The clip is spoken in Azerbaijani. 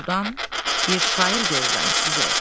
Doğrudan bir şair görürəm sizi.